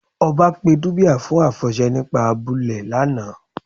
Ọ̀bá pé díbíà fún afọṣẹ̀ nípà àbúlẹ̀ lána.